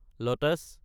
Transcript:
lotus